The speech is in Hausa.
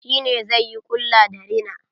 Shi ne zai yi ƙulla da rina.